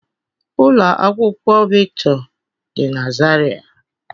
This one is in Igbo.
Ụlọ akwụkwọ Victor dị na Zaria